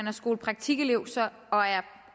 er skolepraktikelever